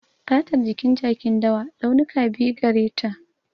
Fatar jikin jakin dawa, launuka biyu gare ta.